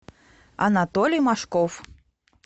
анатолий машков